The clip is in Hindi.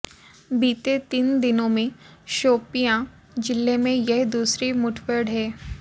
बीते तीन दिनों में शोपियां जिले में यह दूसरी मुठभेड़ है